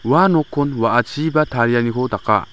ua nokkon wa·achiba tarianiko daka.